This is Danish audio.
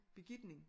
Begitning